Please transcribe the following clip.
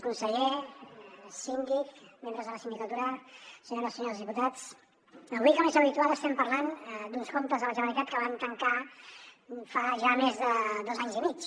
conseller síndic membres de la sindicatura senyores i senyors diputats avui com és habitual estem parlant d’uns comptes de la generalitat que vam tancar fa ja més de dos anys i mig